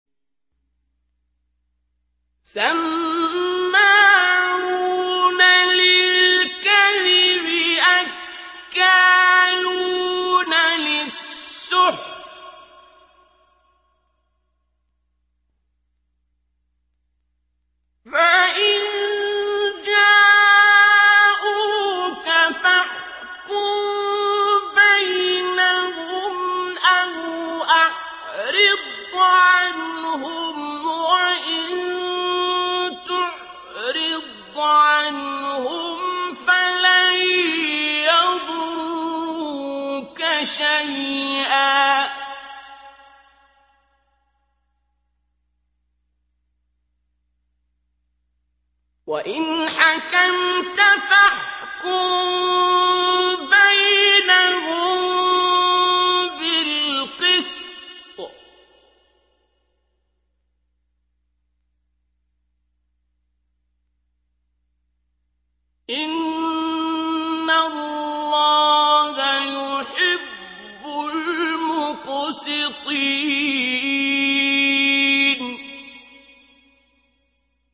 سَمَّاعُونَ لِلْكَذِبِ أَكَّالُونَ لِلسُّحْتِ ۚ فَإِن جَاءُوكَ فَاحْكُم بَيْنَهُمْ أَوْ أَعْرِضْ عَنْهُمْ ۖ وَإِن تُعْرِضْ عَنْهُمْ فَلَن يَضُرُّوكَ شَيْئًا ۖ وَإِنْ حَكَمْتَ فَاحْكُم بَيْنَهُم بِالْقِسْطِ ۚ إِنَّ اللَّهَ يُحِبُّ الْمُقْسِطِينَ